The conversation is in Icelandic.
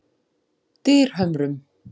Dyrhömrum